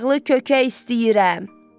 Yağlı kökə istəyirəm.